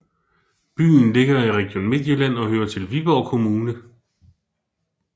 Byen ligger i Region Midtjylland og hører til Viborg Kommune